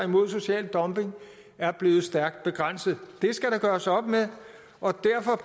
mod social dumping er blevet stærkt begrænset det skal der gøres op med og derfor